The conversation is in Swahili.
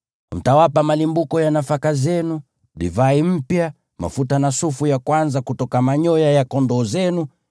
Mtawapa malimbuko ya nafaka zenu, divai mpya, mafuta na sufu ya kwanza kutoka manyoya ya kondoo zenu,